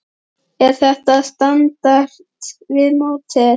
Er þetta á standard við mótið?